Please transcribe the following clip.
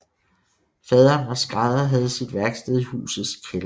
Faderen var skrædder og havde sit værksted i husets kælder